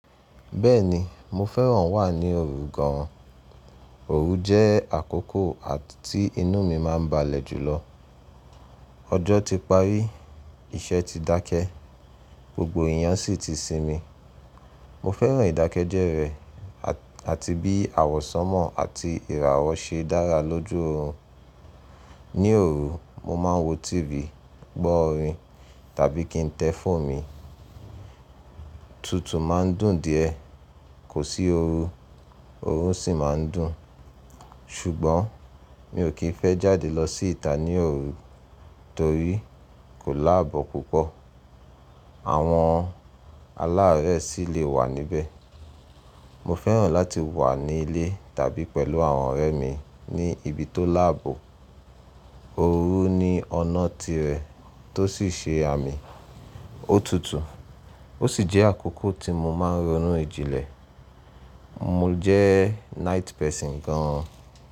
Bẹ́ẹ̀ni, mo fẹ́ràn wà ní òru gan an. Òru jẹ́ àkókò tí inú mi máa ń balẹ̀ jùlọ. Ọjọ́ ti parí, iṣẹ́ ti dákẹ́, gbogbo èèyàn sì ti sinmi. Mo fẹ́ràn ìdákẹ́ jẹ́ rẹ́ àti bí àwọ sánmọ̀ àti ìràwọ́ ṣe dára lójú òru. Ní òru, mo máa ń wo TV, gbọ́ orin tàbí kí n tẹ fónù mi. Tutù máa ń dùn díẹ̀. Kò sí oru, òrun sì máa ń dùn. Ṣùgbọ́n mi ò kí ń fẹ́ jáde lọ sí ìta ní òru torí kò láàbò púpọ̀, àwọn aláàárẹ̀ sì lè wà níbẹ̀. Mo fẹ́ràn láti wà ní ilé tàbí pẹ̀lú àwọn ọ̀rẹ́ mi ní ibi tó láàbò. Òru ni ọ̀nà tirẹ̀ tó sì ṣe àmì ó tutù, ó sì jẹ́ àkókò tí mo máa ń ronú jìnlẹ̀. Mo jẹ́ night person gan an.